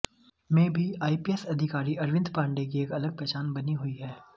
में भी आईपीएस अधिकारी अरविंद पांडे की एक अलग पहचान बनी हुई है